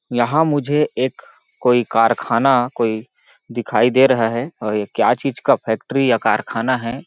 यहाँ मुझे एक कोई कारखाना कोई दिखाई दे रहा है और ये क्या चीज का फैक्ट्री या कारखाना हैं।